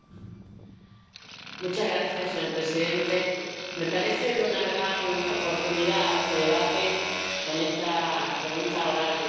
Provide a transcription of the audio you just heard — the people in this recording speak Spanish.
Señor presidente, me parece de una gran oportunidad este debate sobre esta pregunta oral de la Comisión de Peticiones.